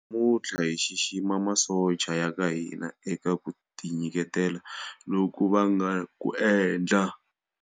Namuntlha hi xixima masocha ya ka hina eka ku tinyiketela loku va nga ku endla.